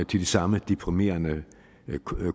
de samme deprimerende